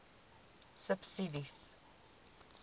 subsidies